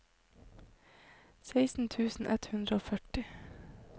seksten tusen ett hundre og førti